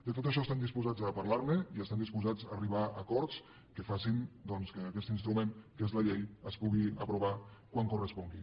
de tot això estem disposats a parlar ne i estem disposats a arribar a acords que facin doncs que aquest instrument que és la llei es pugui aprovar quan correspongui